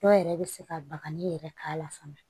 Dɔw yɛrɛ bɛ se ka bagaji yɛrɛ k'a la fana